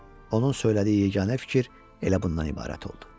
Onun söylədiyi yeganə fikir elə bundan ibarət oldu.